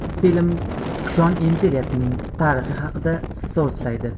Film Kushon imperiyasining tarixi haqida so‘zlaydi.